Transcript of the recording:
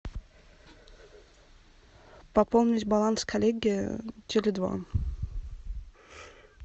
пополнить баланс коллеге теле два